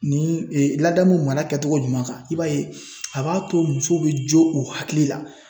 Ni ladamu mara kɛcogo ɲuman kan. I b'a ye a b'a to muso be jo u hakili la.